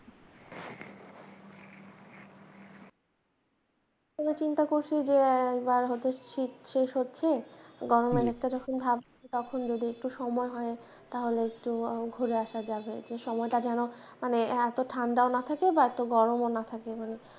এবার চিন্তা করছি যে এবার শীত শেষ হচ্ছে গরমের একটা যখন ভাব তখন যদি একটু সময় হয় তাহলে য় ঘুরে আসা যাবে সময়টা যেন মানে এতো ঠাণ্ডাও না থাকে বা এতো গরমও না থাকে মানে,